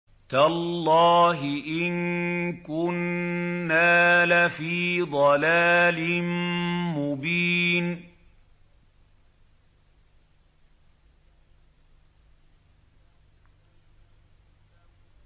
تَاللَّهِ إِن كُنَّا لَفِي ضَلَالٍ مُّبِينٍ